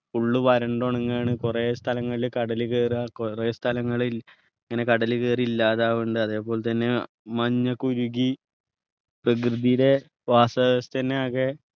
full വരണ്ടു ഉണങ്ങുവാണ് കൊറേ സ്ഥലങ്ങളിൽ കടൽ കയറാ കൊറേ സ്ഥലങ്ങൾ ഇങ്ങനെ കടൽ കയറി ഇല്ലാതാവുണ്ട് അതേപോലെതന്നെ മഞ്ഞ് ഒക്കെ ഉരുകി പ്രകൃതിയുടെ വാസ വ്യവസ്ഥ തന്നെ ആകെ